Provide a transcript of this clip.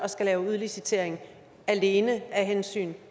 at lave udlicitering alene af hensyn